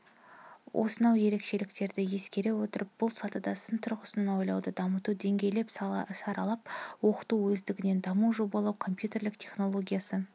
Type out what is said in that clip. осынау ерекшеліктерді ескере отырып бұл сатыда сын тұрғысынан ойлауды дамыту деңгейлеп саралап оқыту өздігінен дамыту жобалау компьютерлік технологиясы